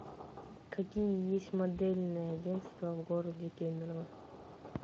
какие есть модельные агентства в городе кемерово